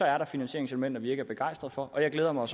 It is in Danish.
er der finansieringselementer vi ikke er begejstret for og jeg glæder mig